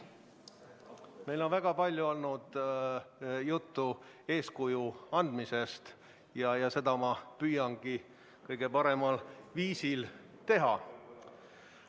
Meil on väga palju olnud juttu eeskuju andmisest ja seda ma püüangi kõige paremal viisil teha.